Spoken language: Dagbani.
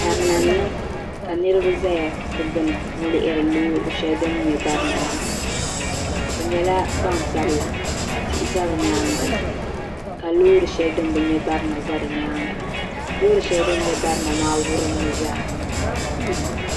Barina n niŋ ka niriba zaya n lihiri loori sheli din nyɛ barina maa bɛ nyɛla gbansabla ka tihi za bɛ nyaanga ka loori sheli din bɛ nya barina za di nyaangaloori sheli din nya barina maa wurumi zaa.